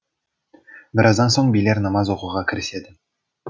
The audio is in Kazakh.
біраздан соң билер намаз оқуға кіріседі